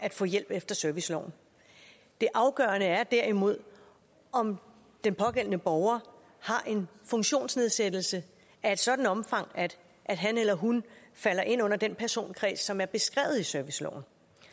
at få hjælp efter serviceloven det afgørende er derimod om den pågældende borger har en funktionsnedsættelse af et sådant omfang at han eller hun falder ind under den personkreds som er beskrevet i serviceloven